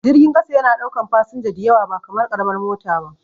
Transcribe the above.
Jirgin ƙasa yana ɗaukan fasinja diyawa ba kamar karamar mota ba